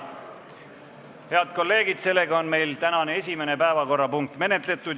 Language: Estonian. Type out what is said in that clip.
Head kolleegid, meie tänane esimene päevakorrapunkt on menetletud.